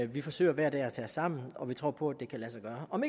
vi forsøger hver dag at tage os sammen og vi tror på at det kan lade sig gøre om